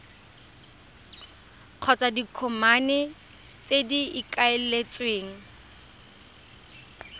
kgotsa ditokomane tse go ikaeletsweng